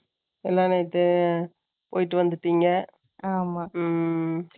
எல்லாம், நேத்து, போயிட்டு வந்துட்டீங்க. ஆமா. ம்,